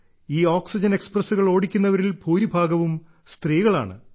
ഈ ഓക്സിജൻ എക്സ്പ്രസ്സുകൾ ഓടിക്കുന്നവരിൽ ഭൂരിഭാഗവും സ്ത്രീകളാണ്